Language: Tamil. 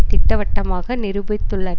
திட்டவட்டமாக நிரூபித்துள்ள